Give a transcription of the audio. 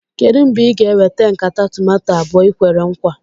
Kedụ mgbe ị ga-eweta nkata tomato abụọ ahụ i kwere nkwa?